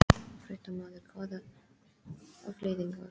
Fréttamaður: Hvaða afleiðingar?